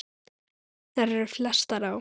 Þær eru flestar á